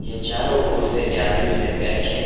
ये चारों ओर से जालियों से पैक है।